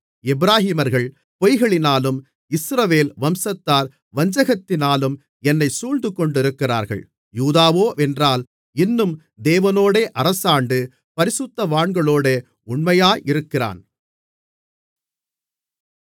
எப்பிராயீமர்கள் பொய்களினாலும் இஸ்ரவேல் வம்சத்தார் வஞ்சகத்தினாலும் என்னைச் சூழ்ந்துகொண்டிருக்கிறார்கள் யூதாவோவென்றால் இன்னும் தேவனோடே அரசாண்டு பரிசுத்தவான்களோடே உண்மையாயிருக்கிறான்